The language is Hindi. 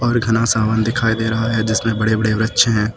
एक घना सा वन दिखाई दे रहा है जिसमें बड़े बड़े वृक्ष है।